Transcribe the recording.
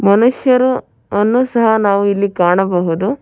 ಮನುಷ್ಯರು ಅನ್ನು ಸಹ ನಾವು ಇಲ್ಲಿ ಕಾಣಬಹುದು.